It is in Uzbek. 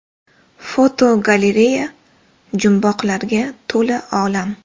Fotogalereya: Jumboqlarga to‘la olam.